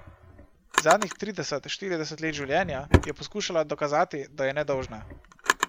Zadnjih trideset, štirideset let življenja je poskušala dokazati, da je nedolžna.